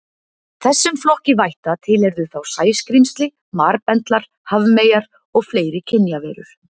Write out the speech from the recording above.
Þessum flokki vætta tilheyrðu þá sæskrímsli, marbendlar, hafmeyjar og fleiri kynjaverur.